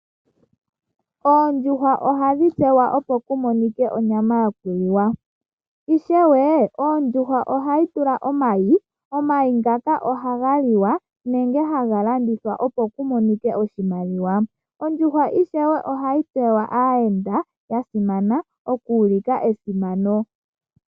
ondjuhwa ohadhi tekulwa opo ku monike onyama yoku liwa. Na ishewe ondjuhwa ohayi vala omayi, nomayi ngoka ohaga liwa, nenge haga landithwa opo ku monike oshimaliwa. Ishewe ondjuhwa ohayi dhipagelwa aayenda ya simana, okuulika esimano.